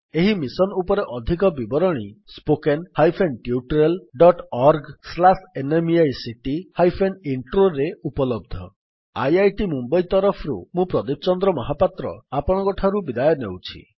ଏହି ମିଶନ୍ ଉପରେ ଅଧିକ ବିବରଣୀ spoken hyphen tutorial dot org slash NMEICT hyphen ଇଣ୍ଟ୍ରୋରେ ଉପଲବ୍ଧ spoken tutorialorgnmeict intro IIT Mumbai ତରଫରୁ ମୁଁ ପ୍ରଦୀପ ଚନ୍ଦ୍ର ମହାପାତ୍ର ଆପଣଙ୍କଠାରୁ ବିଦାୟ ନେଉଛି